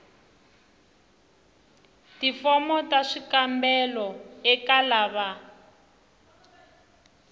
tifomo ta swikombelo eka lava